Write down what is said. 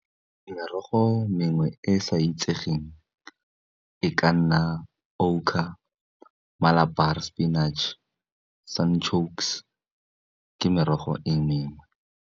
Merogo mengwe e e sa itsegeng e ka nna o sepinactšhe, ke merogo e mengwe.